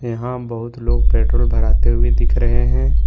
यहां बहुत लोग पेट्रोल भराते हुए दिख रहे हैं।